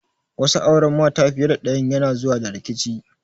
Wasu auren mata fiye da ɗayan yana zuwa da rikici.